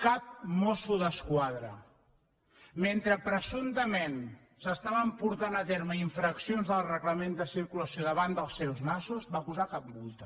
cap mosso d’esquadra mentre presumptament s’estaven portant a terme infraccions del reglament de circulació davant dels seus nassos va posar cap multa